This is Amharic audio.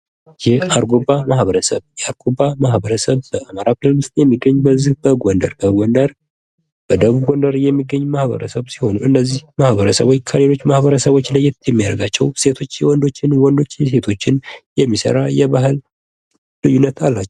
የአርጎባ ማህበረሰብ የአርጎባ ማህበረሰብ በአማራ ክልል ውስጥ የሚገኙ በዚህ በጎንደር በደቡብ ወሎ የሚገኙ ማህበረሰብ ሲሆኑ እነዚህ ማህበረሰቦች ከሌሎች ማህበረሰቦች ለየት የሚያደርጋቸው ሴቶች የወንዶችን ወንዶች የሴቶችን የሚሰራ የባህል ልዩነት አላቸው